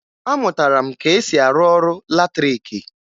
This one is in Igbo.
Amụtara m ka e si arụ ọrụ latrịịkị